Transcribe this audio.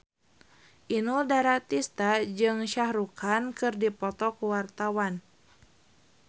Inul Daratista jeung Shah Rukh Khan keur dipoto ku wartawan